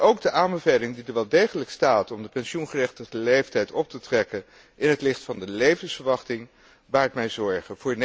Ook de aanbeveling, die er wel degelijk staat, om de pensioengerechtigde leeftijd op te trekken in het licht van de levensverwachting baart mij zorgen.